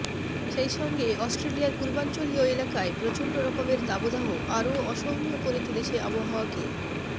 সেইসঙ্গে অস্ট্রেলিয়ার পূর্বাঞ্চলীয় এলাকায় প্রচণ্ড রকমের দাবদাহ আরও অসহনীয় করে তুলেছে আবহাওয়াকে